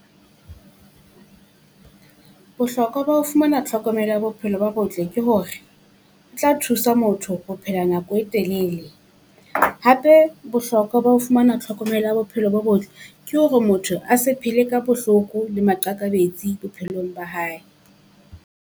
Bohlokwa ba ho fumana tlhokomelo ya bophelo bo botle ke hore, tla thusa motho ho phela nako e telele. Hape bohloko ba ho fumana tlhokomelo ya bophelo bo botle ke hore motho a se phele ka bohloko le maqakabetsi bophelong ba hae.